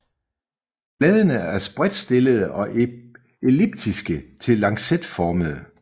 Bladene er spredtstillede og elliptiske til lancetformede